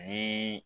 Ni